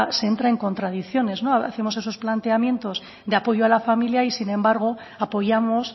se entra en contradicciones hacemos esos planteamientos de apoyo a la familia y sin embargo apoyamos